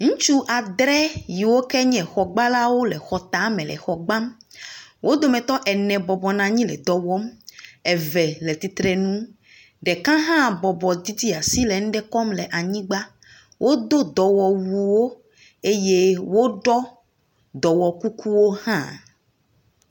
Ŋutsu adre yiwo ke nye xɔgbalawo le xɔ tame le xɔ gbam, wo dometɔ ene bɔbɔ nɔ anyi le dɔ wɔm, eve le titrenu, ɖeka hã bɔbɔ didi asi le nuɖe kɔm le anyigba, wodo dɔwɔwuwo eye woɖɔ dɔwɔkukuwo hã.